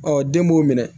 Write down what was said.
Ɔ den b'o minɛ